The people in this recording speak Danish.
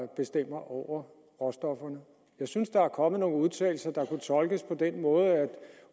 bestemmer over råstofferne jeg synes der er kommet nogle udtalelser der kunne tolkes på den måde at